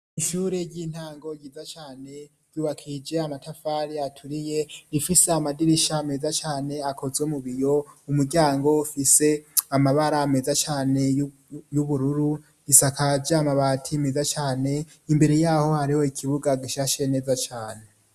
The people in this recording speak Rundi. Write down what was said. Inshure ry'intango ryiza cane yubakije amatafari aturiye rifise amadirisha ameza cane akoze mubiyo umuryango ufise amabara ameza cane y'ubururu risakaje amabati meza cane imbere yaho hariho ikibuga gishashe neza cane.